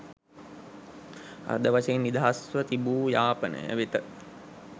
අර්ධ වශයෙන් නිදහස්ව තුබූ යාපනය වෙත